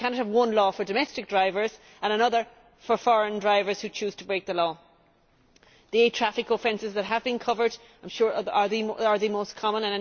We cannot have one law for domestic drivers and another for foreign drivers who choose to break the law. The eight traffic offences that have been covered are, I am sure, the most common.